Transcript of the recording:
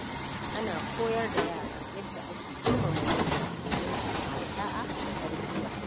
Ana koyar da yara yadda ake girmama manya domin su sami ɗa’a da tarbiyya.